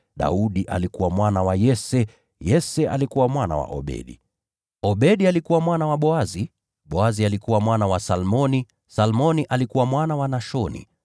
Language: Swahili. Daudi alikuwa mwana wa Yese, Yese alikuwa mwana wa Obedi, Obedi alikuwa mwana wa Boazi, Boazi alikuwa mwana wa Salmoni, Salmoni alikuwa mwana wa Nashoni,